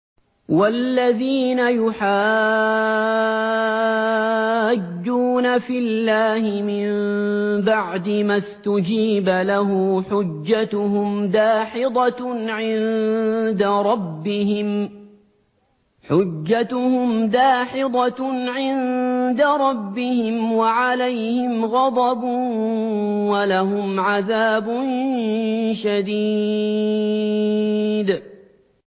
وَالَّذِينَ يُحَاجُّونَ فِي اللَّهِ مِن بَعْدِ مَا اسْتُجِيبَ لَهُ حُجَّتُهُمْ دَاحِضَةٌ عِندَ رَبِّهِمْ وَعَلَيْهِمْ غَضَبٌ وَلَهُمْ عَذَابٌ شَدِيدٌ